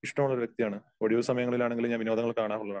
ഇഷ്ടമുള്ള ഒരു വ്യക്തിയാണ്. ഒഴിവ് സമയങ്ങളിൽ ആണെങ്കിൽ ഞാൻ വിനോദങ്ങള് കാണാറുള്ളതാണ്.